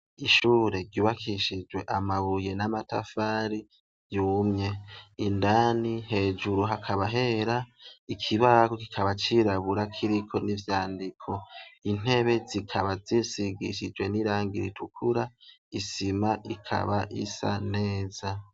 ishure ryubakishijwe amabuye n'amatafari yumye indani hejuru hakaba hera ikibaho kikaba cirabura kiriko n'ivyandiko intebe zikaba zisigishijwe n'irangi ritukura isima ikaba isa neza